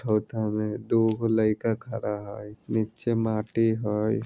में दुगो लइका खड़ा हई नीचे माटी हई।